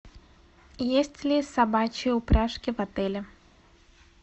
есть ли собачьи упряжки в отеле